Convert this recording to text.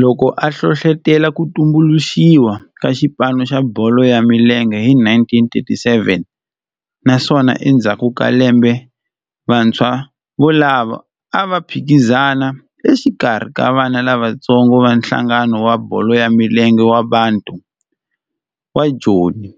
Loko a hlohlotela ku tumbuluxiwa ka xipano xa bolo ya milenge hi 1937 naswona endzhaku ka lembe vantshwa volavo a va phikizana exikarhi ka vana lavatsongo va nhlangano wa bolo ya milenge wa Bantu wa Joni